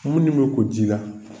Munnu bɛ ko ji la.